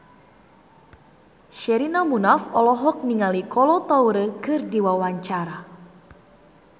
Sherina Munaf olohok ningali Kolo Taure keur diwawancara